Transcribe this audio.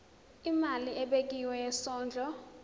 imali ebekiwe yesondlo